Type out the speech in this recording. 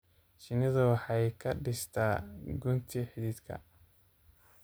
Shinnidu waxay ka dhistaa gunti xididka.